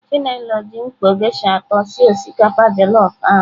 Chinelo ji mkpọ geisha atọ sie osikapa jellof ahụ.